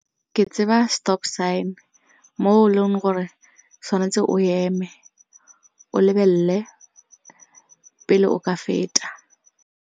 Ke tseba stop sign mo e leng gore tshwanetse o eme o lebelele pele o ka feta.